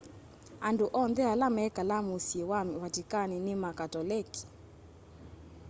andũ onthe ala mekalaa mũsyĩ wa vatikani nĩ ma katolekĩ